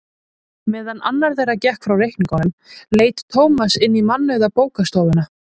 Meðan annar þeirra gekk frá reikningnum leit Tómas inn í mannauða bókastofuna.